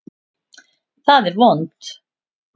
Það er vont.